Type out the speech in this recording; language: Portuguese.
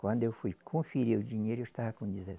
Quando eu fui conferir o dinheiro, eu estava com dezesse